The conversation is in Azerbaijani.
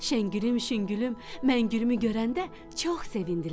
Şəngülüm, Şüngülüm, Məngülümü görəndə çox sevindilər.